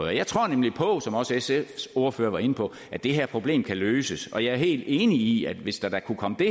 jeg tror nemlig på som også sfs ordfører var inde på at det her problem kan løses og jeg er helt enig i at hvis der da kunne komme det